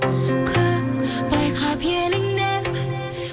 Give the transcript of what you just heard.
кім байқап еліңнен